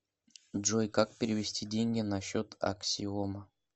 джой как перевести деньги на счет аксиома